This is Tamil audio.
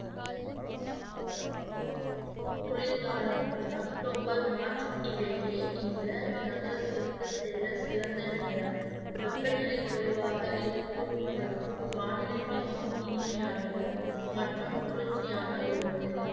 குளிர்காலம் அக்டோபர் மார்ச் இடையே இந்த நகரத்திற்கு செல்ல சிறந்த நேரம். வெப்பநிலை குறைவாக இருக்கும் மற்றும் வானிலை மிகவும் இனிமையானது மற்றும் குளிர்ச்சியாக உள்ளது